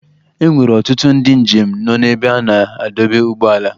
E nwere ọtụtụ ndị njem nọ n'ebe a na-adọba ụgbọala.